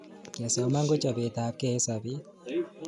kesoman ko chapet apkei eng sapet